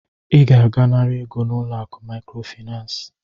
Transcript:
I ga-aga nara ego n'ulo akụ Maịkrofịnansị.